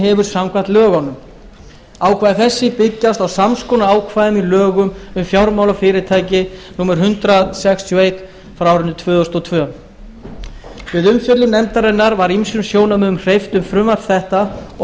hefur samkvæmt lögunum ákvæði þessi byggjast á sams konar ákvæðum í lögum um fjármálafyrirtæki númer hundrað sextíu og eitt frá árinu tvö þúsund og tvö við umfjöllun nefndarinnar var ýmsum sjónarmiðum hreyft um frumvarp þetta og